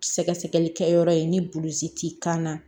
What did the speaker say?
Sɛgɛsɛgɛli kɛyɔrɔ ye ni buluzi ti kan na